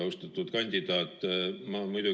Austatud kandidaat!